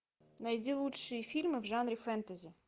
найди лучшие фильмы в жанре фэнтези